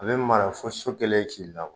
A bɛ mara fo so kɛlen ki